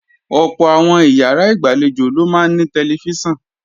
Ọ̀pọ̀ àwọn ìyàrá ìgbàlejò ló máa ní tẹlifíṣàn